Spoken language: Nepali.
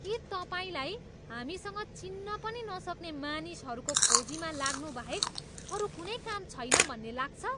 के तपाईँलाई हामीसँग चिन्न पनि नसक्ने मानिसहरूको खोजीमा लाग्नु बाहेक अरू कुनै काम छैन भन्ने लाग्छ?